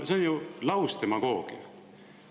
See on ju lausdemagoogia.